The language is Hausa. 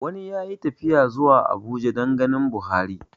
Wani ya yi tafiya zuwa Abuja dan ganin Buhari